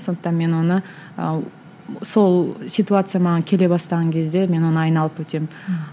сондықтан мен оны ы сол ситуация маған келе бастаған кезде мен оны айналып өтемін